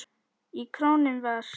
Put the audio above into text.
Í kórnum var